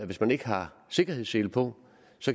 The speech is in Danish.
hvis man ikke har sikkerhedssele på